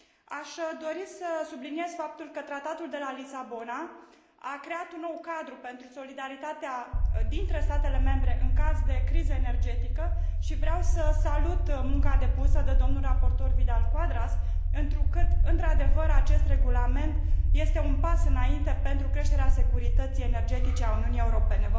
Aș dori să subliniez faptul că Tratatul de la Lisabona a creat un nou cadru pentru solidaritatea dintre statele membre în caz de criză energetică și vreau să salut munca depusă de domnul raportor Vidal Quadras, întrucât într adevăr acest regulament este un pas înainte pentru creșterea securității energetice a Uniunii Europene.